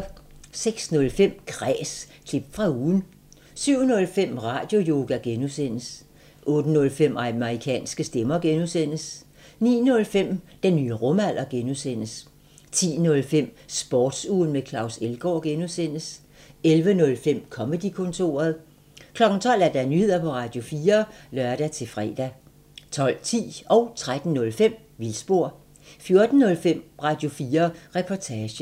06:05: Kræs – klip fra ugen 07:05: Radioyoga (G) 08:05: Amerikanske stemmer (G) 09:05: Den nye rumalder (G) 10:05: Sportsugen med Claus Elgaard (G) 11:05: Comedy-kontoret 12:00: Nyheder på Radio4 (lør-fre) 12:10: Vildspor 13:05: Vildspor 14:05: Radio4 Reportage